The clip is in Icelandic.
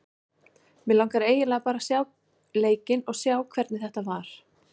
Mig langar eiginlega bara að sjá leikinn og sjá hvernig þetta var.